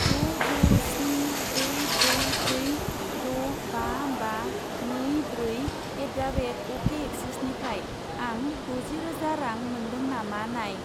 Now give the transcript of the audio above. द' द' स्नि ब्रै ब्रै ब्रै द' बा बा नै ब्रै एट दा रेट अकेसिआइसिआइनिफ्राय आं द'जि रोजा रां मोन्दों नामा नाय।